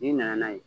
N'i nana n'a ye